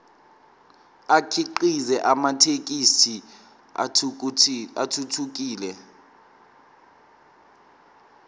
akhiqize amathekisthi athuthukile